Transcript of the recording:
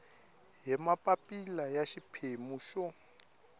hi mapapila ya xiphemu xo